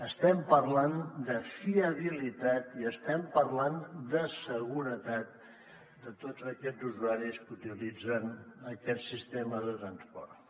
estem parlant de fiabilitat i estem parlant de seguretat de tots aquests usuaris que utilitzen aquest sistema de transport